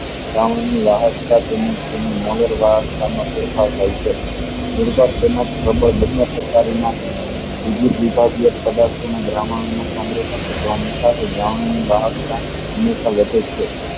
દ્રાવણ ની રહકતા તેમજ તેમની ફેરફાર થાય છે હંમેશા વધે છે